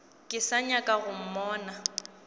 ke sa nyaka go mmona